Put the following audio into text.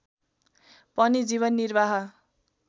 पनि जीवन निर्वाह